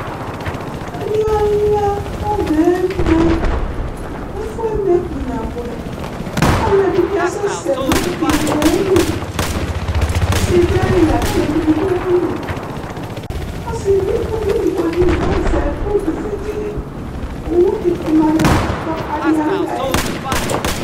Adi alʋia kʋ ɔbɛ eme, ɛfʋɛ eme kpa nabʋɛ Alʋɛdìní asɛsɛ nʋ ívì ye li Ɔsi du ayìlí lakʋ ʋlʋvi bi du ayìlí Ʋlʋvi ɛdigbo azɛ ʋtu vegele Owu di ma nʋ ɛfʋɛ bʋakʋ adi alʋia yɛ